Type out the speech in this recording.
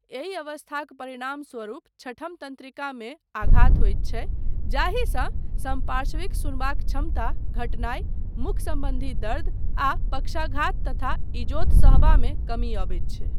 एहि अवस्थाक परिणामस्वरूप छठम तन्त्रिकामे आघात होइत छै जाहिसँ समपार्श्विक सुनबाक क्षमता घटनाइ, मुख सम्बन्धी दर्द आ पक्षाघात तथा इजोत सहबामे कमी अबैत छै।